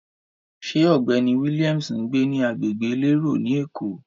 Ṣé ọ̀gbẹ́ni Williams ń gbé ní agbègbè elérò ni Èkó?